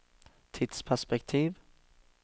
tidsperspektiv